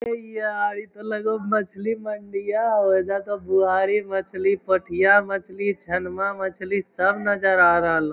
ए यार ई तो लगहो मछली मंडीया हउ | एजा सब गुवारी मछली पथिया मछली छनवा मछली सब नजर आ रहलो |